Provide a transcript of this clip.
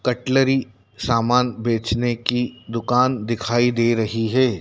Cutlery सामान बेचने की दुकान दिखाई दे रही है।